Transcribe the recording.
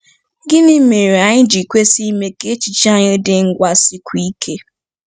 Gịnị mere anyị ji kwesị ime ka echiche anyị dị ngwa sikwuo ike?